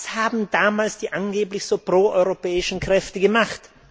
Was haben damals die angeblich so pro europäischen Kräfte gemacht?